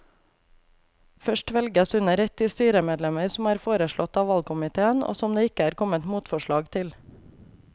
Først velges under ett de styremedlemmer som er foreslått av valgkomiteen og som det ikke er kommet motforslag til.